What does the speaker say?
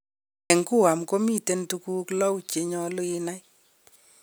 En Guam gomiten tuguu lou chenyolu inai.